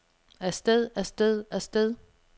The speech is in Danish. afsted afsted afsted